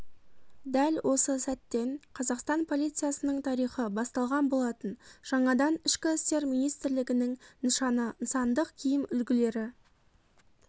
дәл осы сәттен қазақстан полициясының тарихы басталған болатын жаңадан ішкі істер министрлігінің нышаны нысандық киім үлгілері